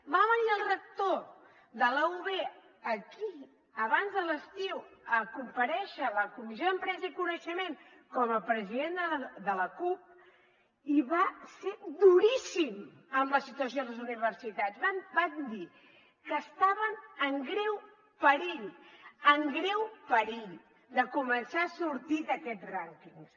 va venir el rector de la ub aquí abans de l’estiu a comparèixer a la comissió d’empresa i coneixement com a president de l’acup i va ser duríssim amb la situació a les universitats van dir que estaven en greu perill en greu perill de començar a sortir d’aquests rànquings